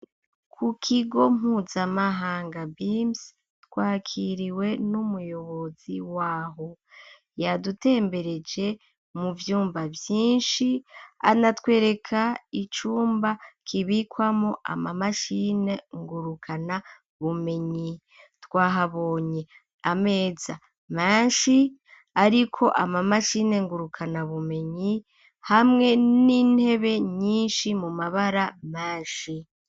Ku kigo mpuzamahanga beams twakiriwe n'umuyobozi waho yadutembereje mu vyumba vyinshi anatwereka icumba kibikwamo ama mashine ngurukana bumenyi twahabonye ameza mashi ariko ama mashine ngurukana bumenyi hamwe n'intebe nyishi mu mabara mashi